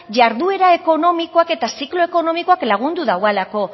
jarduera ekonomikoak eta ziklo ekonomikoak lagundu daualako